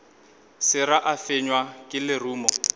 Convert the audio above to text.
sera a fenywa ke lerumo